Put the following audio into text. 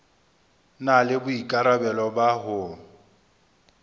na le boikarabelo ba ho